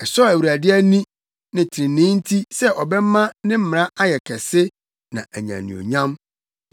Ɛsɔɔ Awurade ani, ne trenee nti sɛ ɔbɛma ne mmara ayɛ kɛse na anya anuonyam.